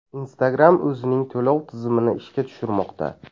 Instagram o‘zining to‘lov tizimini ishga tushirmoqda.